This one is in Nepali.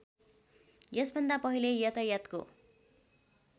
यसभन्दा पहिले यातायातको